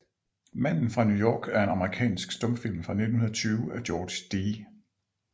Manden fra New York er en amerikansk stumfilm fra 1920 af George D